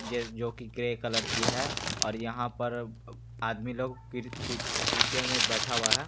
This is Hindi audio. जस जो की ग्रे कलर की है और यहां पर आदमी लोग पर बैठा हुआ है ।